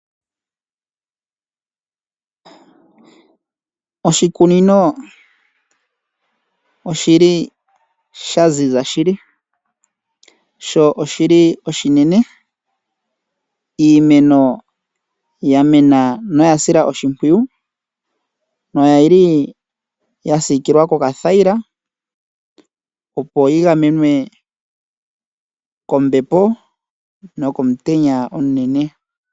Oshikunino oshili shaziza shili sho oshili oshinene . Iimeno yamena noyashilwa oshimpwiyu noyili yasiikilwa kokathayila opo yigamenwe kombepo nokomutenya omunene.